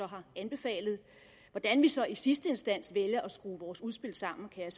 har anbefalet hvordan vi så i sidste instans vælger at skrue vores udspil sammen kan jeg